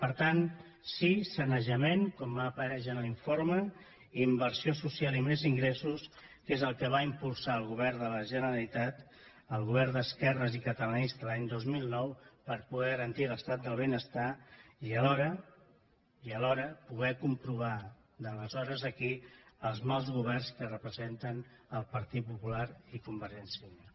per tant sí sanejament com apareix en l’informe inversió social i més ingressos és el que va impulsar el govern de la generalitat el govern d’esquerres i catalanista l’any dos mil nou per poder garantir l’estat del benestar i alhora poder comprovar d’aleshores a aquí els mals governs que representen el partit popular i convergència i unió